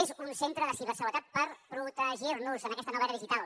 és un centre de seguretat per protegir nos en aquesta nova era digital